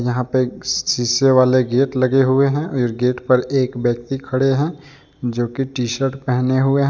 यहाँ पे एक शीशे वाले गेट लगे हुए और गेट पर एक व्यक्ति खड़े हे जोकि टी_शर्ट पहने हुए है।